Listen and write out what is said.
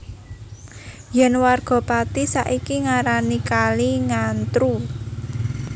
Yen warga Pati saiki ngarani kali Ngantru